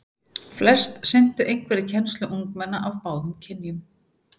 Flest sinntu einhverri kennslu ungmenna af báðum kynjum.